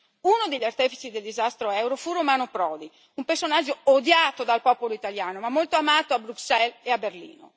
Uno degli artefici del disastro euro fu Romano Prodi, un personaggio odiato dal popolo italiano, ma molto amato a Bruxelles e a Berlino.